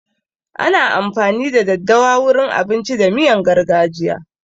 Ana amfani da daddawa wurin abinci da miyan gargajiya.